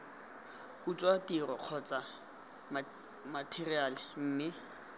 utswa tiro kgotsa matheriale mme